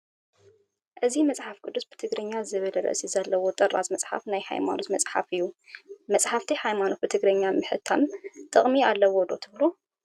እዚ መፅሓፍ ቅዱስ ብትግርኛ ዝብል ርእሲ ዘለዎ ጥራዝ መፅሓፍ ናይ ሃይማኖት መፅሓፍ እዩ፡፡ መፃሕቲ ሃይማኖት ብትግርኛ ምሕታሞም ጥቕሚ ኣለዎ ዶ ትብሉ?